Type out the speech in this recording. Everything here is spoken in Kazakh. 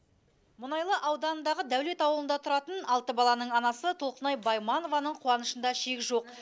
мұнайлы ауданындағы даулет ауылында тұратын алты баланың анасы толқынай байманованың қуанышында шек жоқ